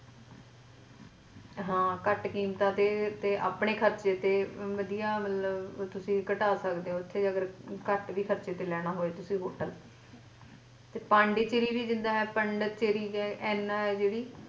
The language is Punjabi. ਹਾਂ ਘੱਟ ਕੀਮਤਾਂ ਤੇ ਤੇ ਆਪਣੇ ਖਰਚੇ ਤੇ ਵਦਯਾ ਮਤਲਬ ਤੁਸੀਂ ਘਟਾ ਸਕਦੇ ਹੋ ਅਗਰ ਉੱਥੇ ਅਗਰ ਘੱਟ ਵੀ ਖਰਚੇ ਤੇ ਲੈਣਾ ਹੋਵੇ ਤੁਸੀ hotel ਤੇ ਪੋਂਡੇਚੇਰੀ ਵੀ ਜਿੱਦਾਂ ਹੈ ਪਾਂਡੀਚਰੀ ਹੈ ਐਨ ਹੈ ਜਿਹੜੀ।